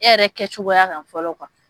E yɛrɛ kɛcogoya kan fɔlɔ